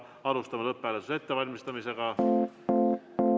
Alustame hääletuse ettevalmistamist.